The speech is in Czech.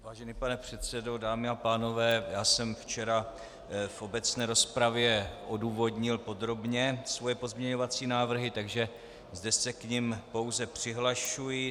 Vážený pane předsedo, dámy a pánové, já jsem včera v obecné rozpravě odůvodnil podrobně svoje pozměňovací návrhy, takže zde se k nim pouze přihlašuji.